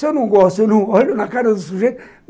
Se eu não gosto, eu não olho na cara do sujeito.